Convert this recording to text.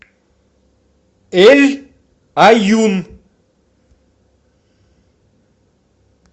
эль аюн